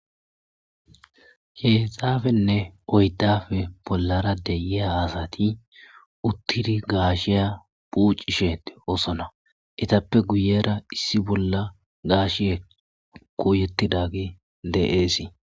Heezafenne oydafe bollara deyeya asati uttiri gaashiya pucisheete oosona etappe guyera issi bolla gaash kouyettidagi de,eesii.